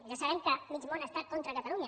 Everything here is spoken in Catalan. ja sabem que mig món està contra catalunya